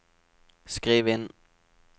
skriv inn